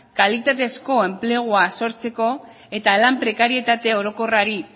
kalitatezko enplegua sortzeko eta lan prekarietate orokorrari